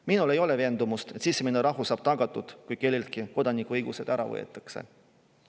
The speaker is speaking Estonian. Minul ei ole veendumust, et sisemine rahu saab tagatud, kui kelleltki kodanikuõigused ära võetakse.